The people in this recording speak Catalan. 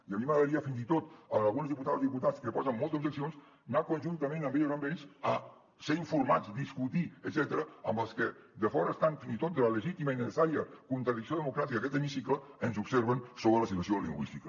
i a mi m’agradaria fins i tot a algunes diputades i diputats que posen moltes objeccions anar conjuntament amb elles o amb ells a ser informats discutir etcètera amb els que de fora estant fins i tot de la legítima i necessària contradicció democràtica d’aquest hemicicle ens observen sobre la situació lingüística